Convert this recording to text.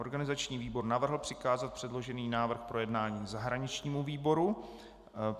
Organizační výbor navrhl přikázat předložený návrh k projednání zahraničnímu výboru.